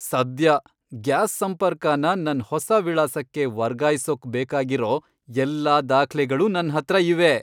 ಸದ್ಯ! ಗ್ಯಾಸ್ ಸಂಪರ್ಕನ ನನ್ ಹೊಸ ವಿಳಾಸಕ್ಕೆ ವರ್ಗಾಯ್ಸೋಕ್ ಬೇಕಾಗಿರೋ ಎಲ್ಲಾ ದಾಖ್ಲೆಗಳೂ ನನ್ಹತ್ರ ಇವೆ.